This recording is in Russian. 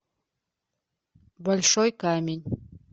большой камень